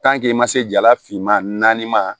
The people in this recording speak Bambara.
i ma se jala finma naanima